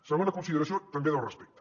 segona consideració també del respecte